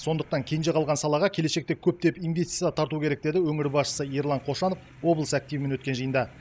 сондықтан кенже қалған салаға келешекте көптеп инвестиция тарту керек деді өңір басшысы ерлан қошанов облыс активімен өткен жиында